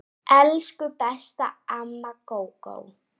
Elsku besta amma Gógó.